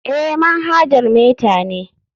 Eh, manhajar meta ne.